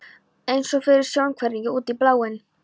eins og fyrir sjónhverfingu, út í bláinn.